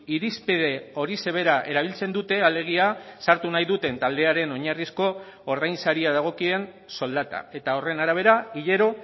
irizpide horixe bera erabiltzen dute alegia sartu nahi duten taldearen oinarrizko ordainsaria dagokien soldata eta horren arabera hilero